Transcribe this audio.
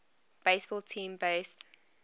baseball team based